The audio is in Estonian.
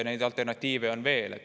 Neid alternatiive on veel.